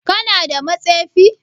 Kana da matsefi?